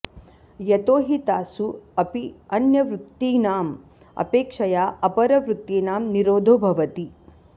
यतो हि तासु अपि अन्यवृत्तीनाम् अपेक्षया अपरवृत्तीनां निरोधो भवति